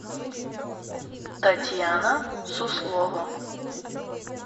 татьяна суслова